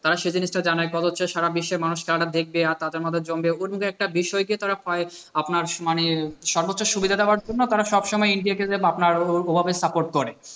তারা সে জিনিসটা জানে। এরপর হচ্ছে সারা বিশ্বের মানুষ খেলাটা দেখবে আর তাদের মত চমকে উঠবে। একটা বিষয়কে হয় তারা আপনার মানে সর্বোচ্চ সুবিধা দেওয়ার জন্য তারা সব সময় ইন্ডিয়াকে যে আপনার ওভাবে support করে।